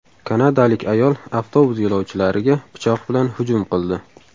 Kanadalik ayol avtobus yo‘lovchilariga pichoq bilan hujum qildi.